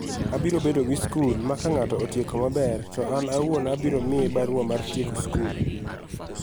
Abiro bedo gi skul ma ka nig'ato otieko maber, to ani awuoni ema abiro miye barua mar tieko skul".